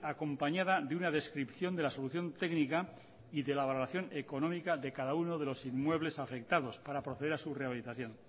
acompañada de una descripción de la solución técnica y de la valoración económica de cada uno de los inmuebles afectados para proceder a su rehabilitación